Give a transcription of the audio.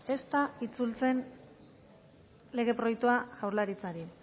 ez da itzultzen lege proiektua jaurlaritzari